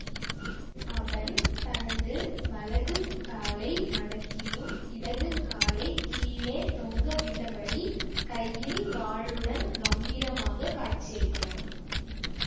அவன் தனது வலது காலை மடக்கியும் இடது காலை கீழே தொங்கவிட்டபடி கையில் வாளுடன் கம்பீரமாக காட்சிளிக்கிறான்